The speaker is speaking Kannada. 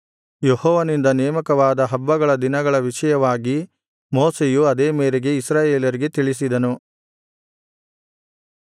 ಯೆಹೋವನಿಂದ ನೇಮಕವಾದ ಹಬ್ಬಗಳ ದಿನಗಳ ವಿಷಯವಾಗಿ ಮೋಶೆಯು ಅದೇ ಮೇರೆಗೆ ಇಸ್ರಾಯೇಲರಿಗೆ ತಿಳಿಸಿದನು